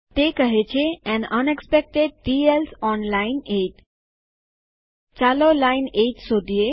તે કહે છે an unexpected T else on line 8એન unexpected T else on line ૮ ચાલો લાઈન ૮ શોધીએ